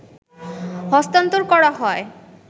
হস্তান্তর করা হয়